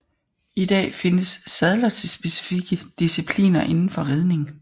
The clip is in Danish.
I dag findes sadler til specifikke discipliner inden for ridning